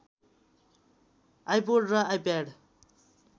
iPod र iPad